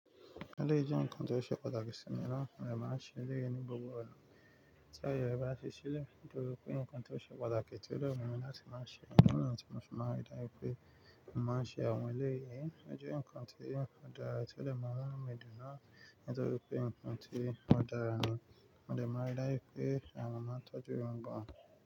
Eleyii jẹ́ nǹkan tó ṣe pàtàkì sí mi naa mo de màá n ṣe eleyií ní gbogbo ọ̀na. Tí aye re bá ṣi ṣilẹ́, nítorí pé nǹkan tó ṣe pàtàkì tí ó dè wu mi láti máa ṣe. Idi niyii tí mo ṣe máa rí dájú pé mo màá n ṣe àwọn eleyiiyìí, o je nǹkan tí ń dàra, tí ó lè mu nu mi dùn náà, nítorí pé nǹkan tí o dara ni, mo dè máa n rí dájú pé àwọn máa tọ́jú wọn gan.